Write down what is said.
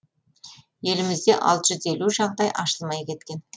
елімізде алты жүз елу жағдай ашылмай кеткен